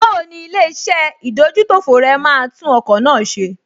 Báwo ni ilé-iṣẹ́ ìdójútòfò rẹ máa tún ọkọ̀ náà ṣe?